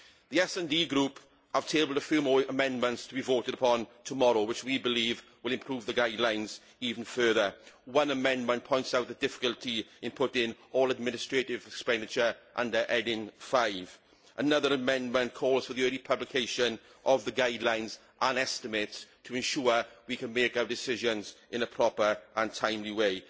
The SD Group have tabled a few more amendments to be voted upon tomorrow which we believe will improve the guidelines even further. One amendment points out the difficulty of putting all administrative expenditure under heading 5 another amendment calls for the early publication of the guidelines and estimates to ensure we can make our decisions in a proper and timely way.